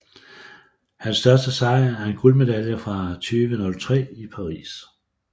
Hans største sejr er en guldmedalje fra VM 2003 i Paris